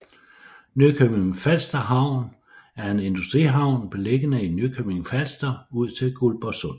Nykøbing Falster Havn er en industrihavn beliggende i Nykøbing Falster ud til Guldborg Sund